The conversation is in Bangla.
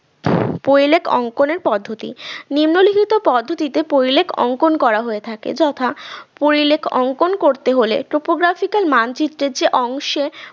পরিলেখ অঙ্কনের পদ্ধতি নিম্নলিখিত পদ্ধতিতে পরিলেখ অঙ্কন করা হয়ে থাকে যথা পরিলেখ অঙ্কন করতে হলে topographical মানচিত্রের যে অংশে